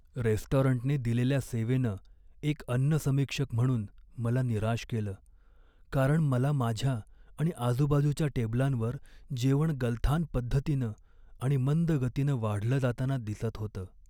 रेस्टॉरंटने दिलेल्या सेवेनं एक अन्न समीक्षक म्हणून मला निराश केलं, कारण मला माझ्या आणि आजूबाजूच्या टेबलांवर जेवण गलथान पद्धतीनं आणि मंद गतीनं वाढलं जाताना दिसत होतं.